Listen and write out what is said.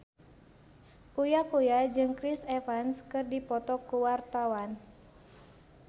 Uya Kuya jeung Chris Evans keur dipoto ku wartawan